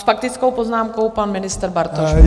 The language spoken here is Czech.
S faktickou poznámkou pan ministr Bartoš.